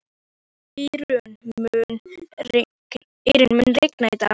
Írunn, mun rigna í dag?